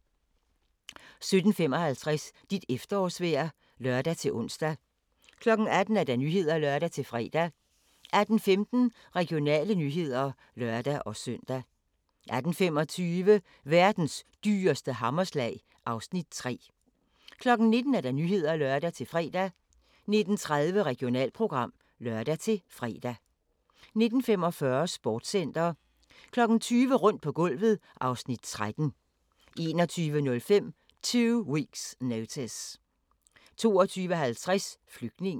17:55: Dit efterårsvejr (lør-ons) 18:00: Nyhederne (lør-fre) 18:15: Regionale nyheder (lør-søn) 18:25: Verdens dyreste hammerslag (Afs. 3) 19:00: Nyhederne (lør-fre) 19:30: Regionalprogram (lør-fre) 19:45: Sportscenter 20:00: Rundt på gulvet (Afs. 13) 21:05: Two Weeks Notice 22:50: Flygtningen